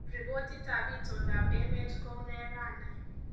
Ripotitab itondoab enet kounee raini